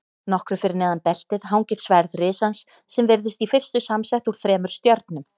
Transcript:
Nokkru fyrir neðan beltið hangir sverð risans sem virðist í fyrstu samsett úr þremur stjörnum.